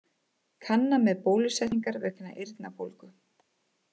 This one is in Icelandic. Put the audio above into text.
Kanna með bólusetningar vegna eyrnabólgu